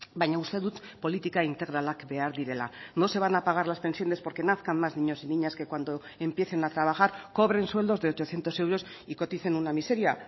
baina uste dut politika integralak behar direla no se van a pagar las pensiones porque nazcan más niños y niñas que cuando empiecen a trabajar cobren sueldos de ochocientos euros y coticen una miseria